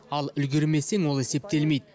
ал үлгермесең ол есептелмейді